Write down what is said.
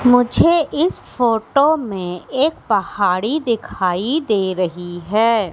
मुझे इस फोटो में एक पहाड़ी दिखाई दे रही है।